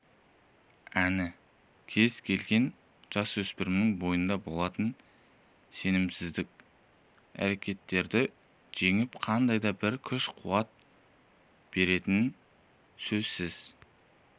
әні кез келген жасөспірімнің бойында болатын сенімсіздік әрекеттерді жеңіп қандай да бір күш-қуат беретіні сөзсіз